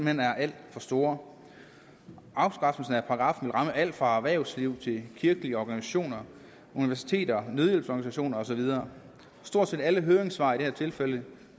hen er alt for store afskaffelsen af paragraffen vil alt fra erhvervsliv til kirkelige organisationer universiteter nødhjælpsorganisationer og så videre stort set alle høringssvar i det her tilfælde